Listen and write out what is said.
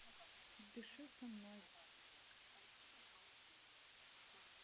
дыши со мной